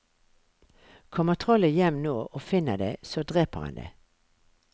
Kommer trollet hjem nå og finner deg, så dreper han deg.